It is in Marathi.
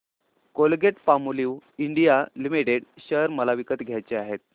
कोलगेटपामोलिव्ह इंडिया लिमिटेड शेअर मला विकत घ्यायचे आहेत